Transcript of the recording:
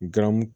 Garamu